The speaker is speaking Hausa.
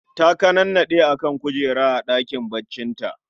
Ta kanannade a kan kujera a ɗakin baccinta